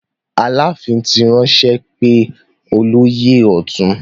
Aláàfin ti ránṣẹ́ pé olóyè ọ̀tún.